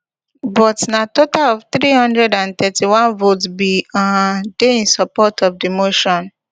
but na total of three hundred and thirty-one votes bin um dey in support of di motion